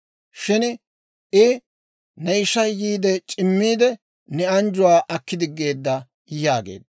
Shin I, «Ne ishay yiide c'immiidde, ne anjjuwaa aki diggeedda» yaageedda.